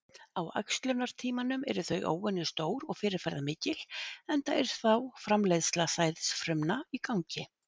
Á æxlunartímanum eru þau óvenju stór og fyrirferðamikil enda er þá framleiðsla sæðisfrumna í gangi.